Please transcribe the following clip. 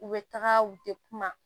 U bɛ taga u tɛ kuma